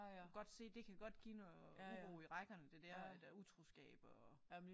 Du kan godt se det kan godt give noget uro i rækkerne det der med utroskab og